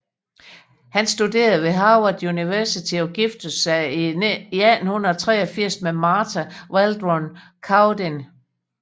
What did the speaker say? Han studerede ved Harvard University og giftede sig i 1883 med Martha Waldron Cowdin